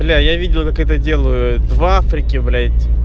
бля я видел как это делают в африке блядь